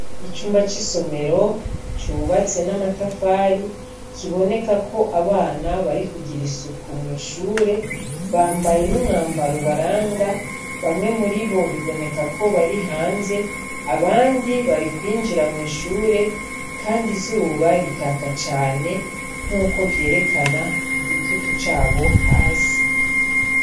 Icumba c'isomero cubatse n'amatafari kiboneka ko abana bari kugira isuku mw'ishure bambaye n'umwambaro ubaranga bamwe muri bo biboneka ko bari hanze abandi bari kwinjira mw'ishure, kandi izuba rikaka cane nk'uko vyerekana igitutu cabo hasi.